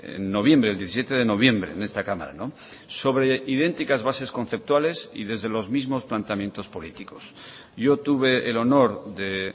en noviembre el diecisiete de noviembre en esta cámara sobre idénticas bases conceptuales y desde los mismos planteamientos políticos yo tuve el honor de